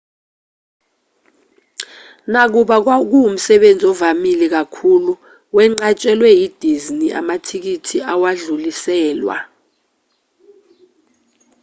nakuba kuwumsebenzi ovamile kakhulu wenqatshelwe yi-disney amathikithi awadluliselwa